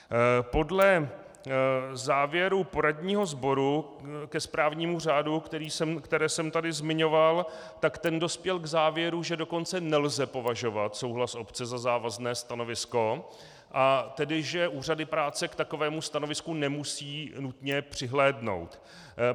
Podle závěrů poradního sboru ke správnímu řádu, které jsem tady zmiňoval, tak ten dospěl k závěru, že dokonce nelze považovat souhlas obce za závazné stanovisko, a tedy že úřady práce k takovému stanovisku nemusí nutně přihlédnout.